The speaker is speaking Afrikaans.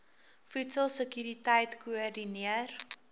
voedsel sekuriteit koördineer